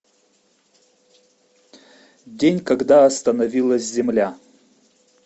день когда остановилась земля